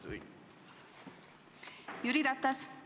Jüri Ratas!